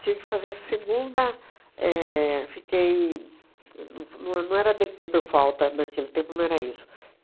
Tive que fazer a segunda éh fiquei... e não f não não era dê pê por falta naquele tempo, não era isso.